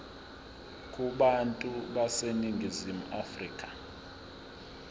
kubantu baseningizimu afrika